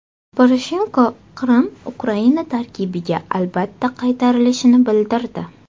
Poroshenko Qrim Ukraina tarkibiga albatta qaytarilishini bildirdi.